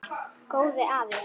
Góði afi.